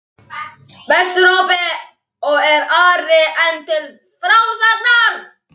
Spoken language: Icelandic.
Vesturhópi, og er Ari enn til frásagnar